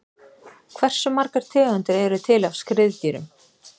hversu margar tegundir eru til af skriðdýrum